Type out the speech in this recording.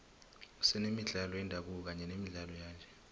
senemidlalo yendabuko kanye nemidlalo yanje